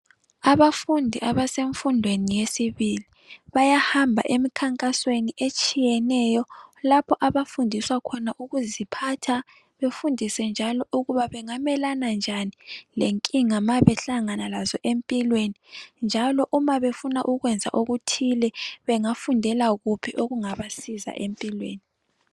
Abafundi abasemfundweni yesibili bayahamba emkhankasweni etshiyeneyo lapho abafundiswa khona ukuziphatha befundiswe njalo ukuba bengamelana njani lenkinga ma behlangana lazo empilweni njalo uma befuna ukwenza okuthile bengafundela kuphi okungabasiza empilweni.